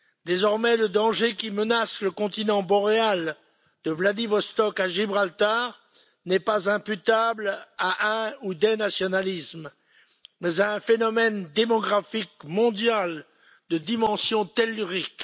Désormais le danger qui menace le continent boréal de Vladivostok à Gibraltar n'est pas imputable à un ou des nationalismes, mais à un phénomène démographique mondial de dimension tellurique.